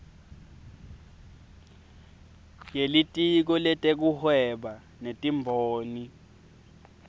yelitiko letekuhweba netimboni